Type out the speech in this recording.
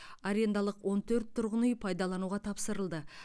арендалық он төрт тұрғын үй пайдалануға тапсырылды